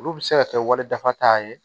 Olu bɛ se ka kɛ wali dafa ye